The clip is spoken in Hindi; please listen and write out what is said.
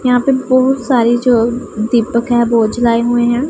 यहां पे बहुत सारे जो दीपक हैं वो जलाए हुए हैं।